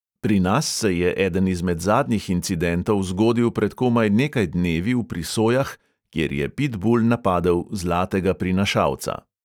Pri nas se je eden izmed zadnjih incidentov zgodil pred komaj nekaj dnevi v prisojah, kjer je pitbul napadel zlatega prinašalca.